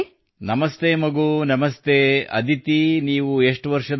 ನಮಸ್ತೆ ಮಗು ನಮಸ್ತೆ ಅದಿತಿ ನೀವು ಎಷ್ಟು ವರ್ಷದವರು